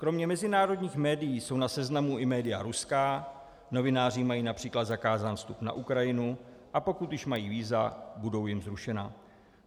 Kromě mezinárodních médií jsou na seznamu i média ruská, novináři mají například zakázán vstup na Ukrajinu, a pokud už mají víza, budou jim zrušena.